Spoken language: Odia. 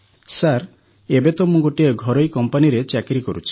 ସାର୍ ଏବେ ତ ମୁଁ ଗୋଟିଏ ଘରୋଇ କମ୍ପାନୀରେ ଚାକିରି କରୁଛି